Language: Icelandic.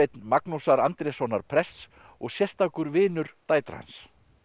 Magnúsar Andréssonar prests og sérstakur vinur dætra hans